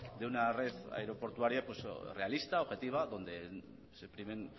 de una red aeroportuaria realista objetiva donde se primen